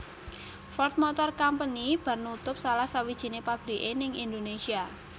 Ford Motor Company bar nutup salah sawijine pabrike ning Indonesia